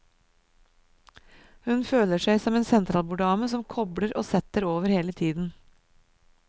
Hun føler seg som en sentralborddame som kobler og setter over hele tiden.